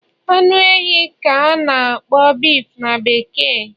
Anu ehi ka a na-akpọ beef na bekee